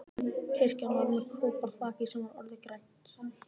Kirkjan var með koparþaki sem var orðið grænt.